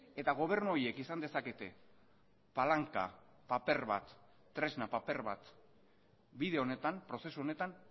eta gobernu horiek izan dezakete palanka paper bat tresna paper bat bide honetan prozesu honetan